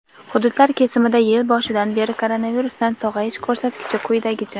Hududlar kesimida yil boshidan beri koronavirusdan sog‘ayish ko‘rsatkichi quyidagicha:.